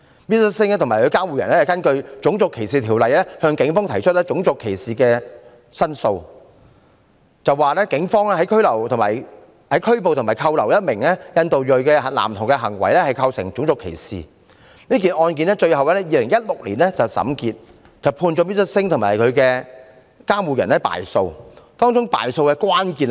Mr SINGH 和其監護人根據《種族歧視條例》向警方提出種族歧視的申訴，指警方拘捕和扣留一名印度裔男童的行為構成種族歧視，這宗案件最後在2016年審結，判 Mr SINGH 和其監護人敗訴，當中敗訴的關鍵是甚麼？